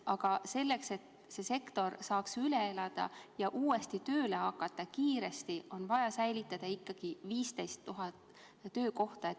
Aga selleks, et see sektor saaks kriisi üle elada ja uuesti kiiresti tööle hakata, on vaja säilitada vähemalt 15 000 töökohta.